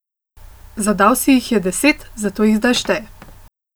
Zadal si jih je deset, zato jih zdaj šteje.